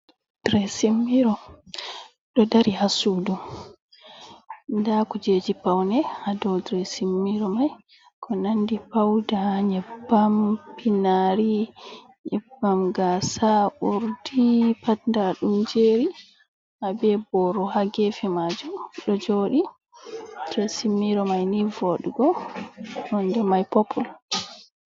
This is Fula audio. Diresin miro, ɗo dari haa suudu. Nda kuujeji paune haa dow diresin miro mai, ko nandi pauda, nƴebbam, pinaari, nƴebbam gaasa, urdi, pat nda ɗum jeeri. Haa be boro haa gefe maajum ɗo jooɗi. diresin miro mai nii voɗugo, nonde mai popul.